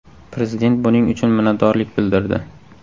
Prezident buning uchun minnatdorlik bildirdi.